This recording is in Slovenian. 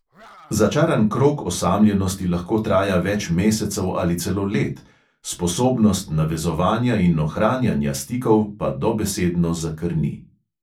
Začaran krog osamljenosti lahko traja več mesecev ali celo let, sposobnost navezovanja in ohranjanja stikov pa dobesedno zakrni.